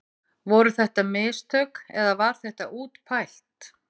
Voru þetta mistök eða var þetta útpælt?